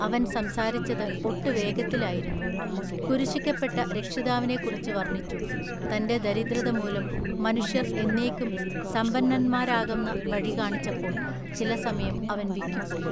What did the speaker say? അവൻ സംസാരിച്ചത് ഒട്ടു വേഗത്തിലായിരുന്നു. കുരിശിക്കപ്പെട്ട രക്ഷിതാവിനെ കുറിച്ച് വർണ്ണിച്ചു തൻ്റെ ദരിദ്രത മൂലം മനുഷ്യർ എന്നേക്കും സമ്പന്നന്മാരാകുന്ന വഴി കാണിച്ചപ്പോൾ ചില സമയം അവൻ വിക്കിപ്പോയി.